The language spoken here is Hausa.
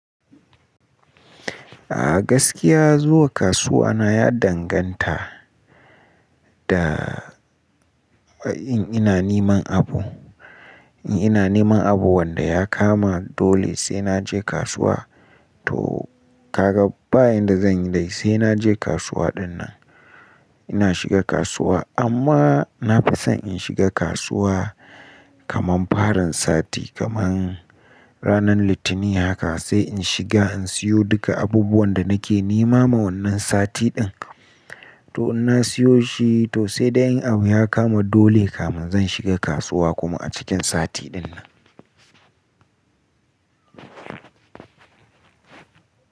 A gaskiya zuwa kasuwa na ya danganta da in ina niman abu, in ina niman abu wanda ya kama dole sai naje kasuwa. To kaga bayan da zan yi dai sai naje kasuwa ɗinnan. Ina shiga kasuwa amma na fi son in shiga kasuwa kaman farin sati kaman ranar Litinin haka sai in shiga in siyo duka abubuwan da nake nema ma wannan sati ɗin. To in na siyo shi to sai da yin abu ya kama dole kaman zan shiga kasuwa kuma a cikin sati ɗinnan.